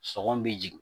Sɔgɔn bɛ jigin